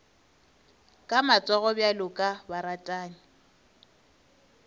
ka matsogo bjalo ka baratani